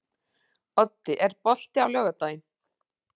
Oddi, er bolti á laugardaginn?